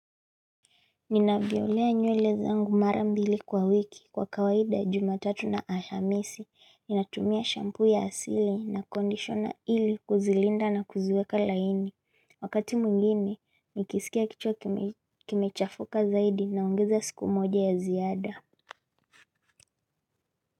Nina violea nywele zangu mara mbili kwa wiki kwa kawaida jumatatu na alhamisi, ninatumia shampu ya asili na kondishona ili kuzilinda na kuziweka laini, wakati mwingine nikisikia kichwa kimechafuka zaidi na ongeza siku moja ya ziada.